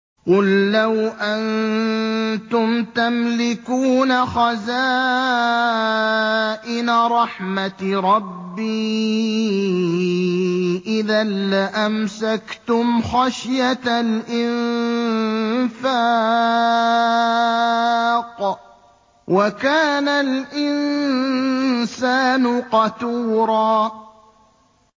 قُل لَّوْ أَنتُمْ تَمْلِكُونَ خَزَائِنَ رَحْمَةِ رَبِّي إِذًا لَّأَمْسَكْتُمْ خَشْيَةَ الْإِنفَاقِ ۚ وَكَانَ الْإِنسَانُ قَتُورًا